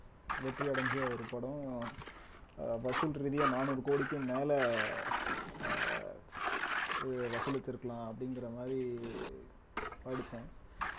வெற்றி அடைஞ்ச ஒரு படம் அஹ் வசூல் ரீதியா நானூறு கோடிக்கும் மேல அஹ் இது வசூலித்திருக்கலாம் அப்படிங்கிற மாதிரி படிச்சேன்